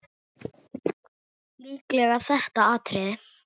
Líklega þetta atriði.